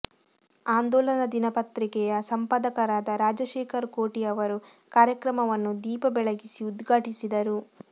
ಆಂದೋಲನ ದಿನಪತ್ರಿಕೆಯ ಸಂಪಾದಕರಾದ ರಾಜಶೇಖರ ಕೋಟಿ ಅವರು ಕಾರ್ಯಕ್ರಮವನ್ನು ದೀಪ ಬೆಳಗಿಸಿ ಉದ್ಘಾಟಿಸಿದರು